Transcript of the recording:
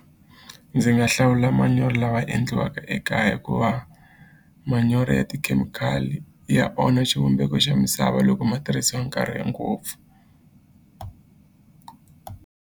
Ndzi nga hlawula manyoro lawa endliwaka ekaya hikuva manyoro ya tikhemikhali ya onha xivumbeko xa misava loko ma tirhisiwa nkarhi e ngopfu.